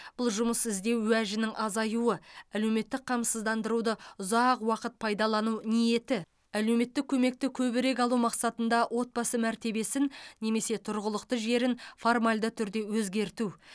бұл жұмыс іздеу уәжінің азаюы әлеуметтік қамсыздандыруды ұзақ уақыт пайдалану ниеті әлеуметтік көмекті көбірек алу мақсатында отбасы мәртебесін немесе тұрғылықты жерін формальды түрде өзгерту